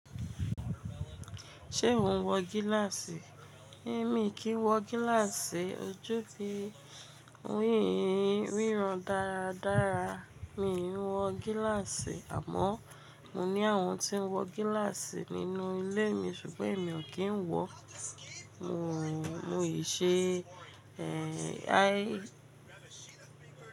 Ṣé o ń wọ gíláàsì? Èmi kì í wọ gíláàsì, ojú fi ń rí ìríran dáradára. Mi ò ń wọ gíláàsì àmọ́ mo ní àwọn tí ń wọ gíláàsì nínú ilé mi ṣùgbọ́n èmi ò kí ń wọ. Mò ń ṣe, ẹ́, á.